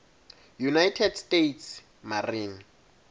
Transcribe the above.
united states marine